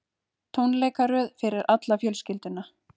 Tónleikaröð fyrir alla fjölskylduna